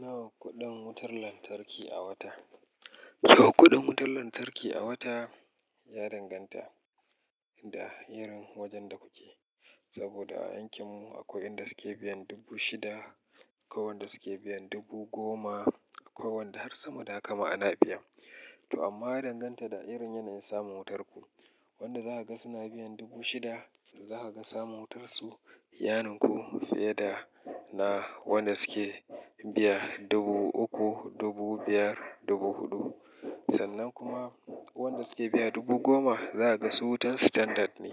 Nawa kuɗin wutar lantarki a wata? Nawa kuɗin wutar lantarki a wata ya danganta da irin wajen da kuke. Saboda a yankin mu akwai waɗanda suke biyan dubu shida, akwai waɗanda suke biyan dubu goma, akwai wanda har sama da haka ma ana biyan. To amma ya danganta da irin yanayin samun wutar ku. Wanda za ka ga suna biyan dubu shida, za ka ga samun wutarsu, yaninku fiye da na waɗanda suke biya dubu uku, dubu biyar, dubu huɗu. Sannan kuma wanda suke biya dubu goma za a ga su wutar standard ne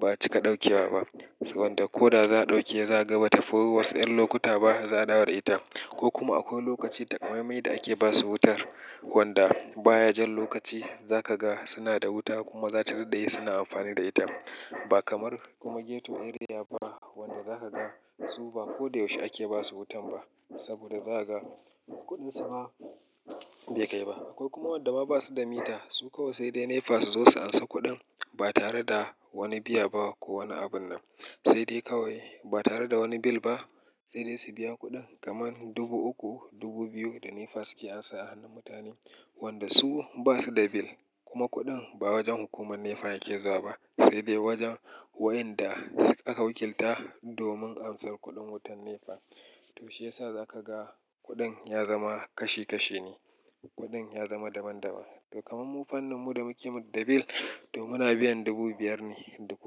ba cika ɗaukewa ba. So wanda ko da za ɗauke zakaga ba ta fi wasu, ƴan lokuta ba za a dawo da ita. Ko kuma akwai lokaci takamaimai da ake basu wutar, wanda baya jan lokaci za ka ga suna da wuta kuma za ta dade suna amfani da ita. Ba kamar kuma ghetto area ba wanda za ka ga su ba ko da yaushe ake basu wutan ba. Saboda za ka ga kuɗin su ba bai kai ba. Akwai kuma waɗanda ba su da mita, su kawai sai dai NEPA su zo su ansa kuɗin ba tare da wani biya ba ko wani abun nan. Sai dai kawai ba tare da wani bill ba sai dai su biya kuɗin kamar dubu uku, dubu biyu da NEPA suke ansa a hannun mutane. Wanda su ba su da bill kuma kuɗin ba wajen hukumar NEPA yake zuwa ba sai dai wajen waɗanda aka wakilta domin amsar kuɗin wutar NEPA. To shiyasa za ka ga kuɗin ya zama kashi kashi ne, kuɗin ya zama daban daban. To kamar mu fannin mu da muke da bill to muna biyan dubu biyar ne dubu.